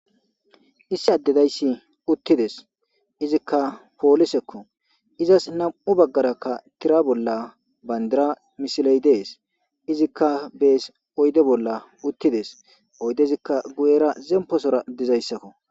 issi addedayssi uttides izikka poolisekko izas nam7u baggarakka tira bolla bayndira misiley dees izikka bees oyde bolla uttides oydezikka guyera zemposora dizayssakko